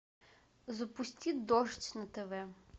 запусти дождь на тв